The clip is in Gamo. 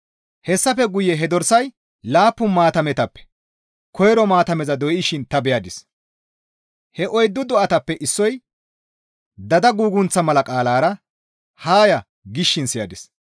Hessafe guye he dorsay laappun maatametappe koyro maatameza doyshin ta beyadis; he oyddu do7atappe issoy dada gugunththa mala qaalara, «Haa ya!» gishin siyadis.